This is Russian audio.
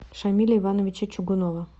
шамиля ивановича чугунова